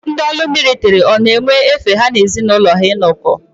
Ndị ọrụ militiri ọ na-enwe efe ha na ezi n'ụlọ ha inọkọ.